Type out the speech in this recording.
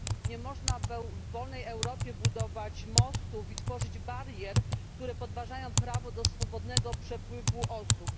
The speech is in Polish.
Nie można w wolnej Europie budować mostów i tworzyć barier, które podważają prawo do swobodnego przepływu osób.